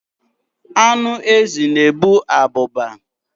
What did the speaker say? Anụ ezi na-ebu abụba.